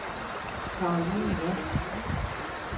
Karoline Jansen